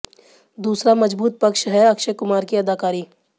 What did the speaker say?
दूसरा मजबूत पक्ष है अक्षय कुमार की अदाकारी